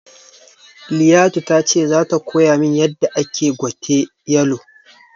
Liyatu tace zata koyamin yadda ake gwate yalo